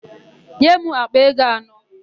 Nye m àkpà ego anọ!